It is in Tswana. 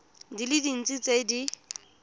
di le dintsi tse di